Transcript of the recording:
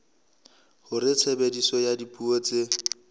hore tshebediso ya dipuo tse